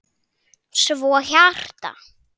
Svo hjarta.